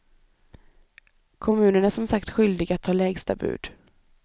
Kommunen är som sagt skyldig att ta lägsta bud.